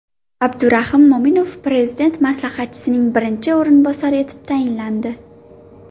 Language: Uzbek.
Abdurahim Mo‘minov Prezident maslahatchisining birinchi o‘rinbosari etib tayinlandi.